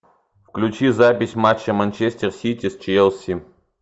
включи запись матча манчестер сити с челси